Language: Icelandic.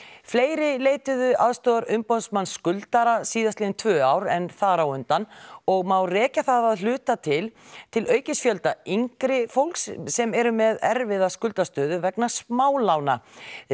fleiri leituðu aðstoðar umboðsmanns skuldara síðastliðin tvö ár en þar á undan og má rekja það að hluta til til aukins fjölda yngra fólks sem eru með erfiða skuldastöðu vegna smálána